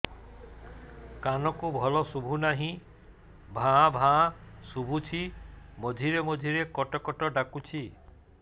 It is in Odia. କାନକୁ ଭଲ ଶୁଭୁ ନାହିଁ ଭାଆ ଭାଆ ଶୁଭୁଚି ମଝିରେ ମଝିରେ କଟ କଟ ଡାକୁଚି